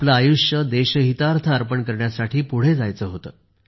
आपले आयुष्य देशहितार्थ अर्पण करण्यासाठी पुढे जायचे होते